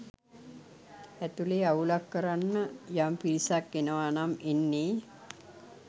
ඇතුලේ අවුලක් කරන්න යම් පිරිසක් එනවා නම් එන්නේ